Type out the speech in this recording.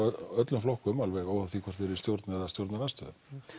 öllum flokkum alveg óháð því hvort þeir eru í stjórn eða stjórnarandstöðu